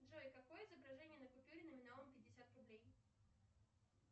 джой какое изображение на купюре номиналом пятьдесят рублей